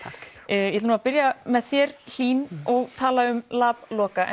ég ætla að byrja með þér Hlín og tala um lab Loka